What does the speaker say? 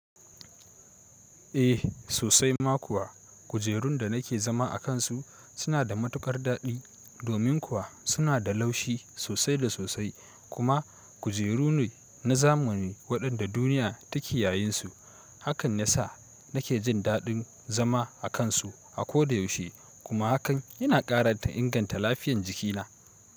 Eh sosai ma kuwa, kujerun da nake zama a kansu suna da matukar daɗi domin kuwa suna da laushi sosai da sosai kuma kujeru ne na zamani waɗanda duniya take yayinsu. Hakan ya sa nake jin daɗin zama a kansu a koda yaushe kuma hakan yana ƙara inganta lafiyan jikina.